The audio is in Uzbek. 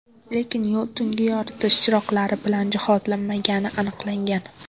Lekin yo‘l tungi yoritish chiroqlari bilan jihozlanmagani aniqlangan.